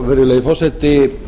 virðulegi forseti